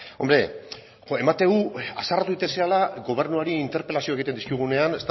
hombre ematen du haserretu egiten zarela gobernuari interpelazioak egiten dizkigunean